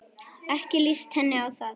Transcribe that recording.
Ekki líst henni á það.